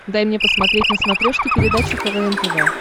дай мне посмотреть на смотрешке передачу квн тв